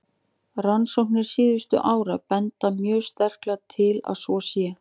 Rannsóknir síðustu ára benda mjög sterklega til að svo sé.